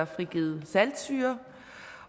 frigivet saltsyre